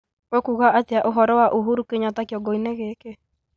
ũkuuga atĩa ũhoro wa uhuru kenyatta kĩongoinĩ gĩkĩ